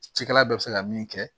Cikɛla bɛɛ bɛ se ka min kɛ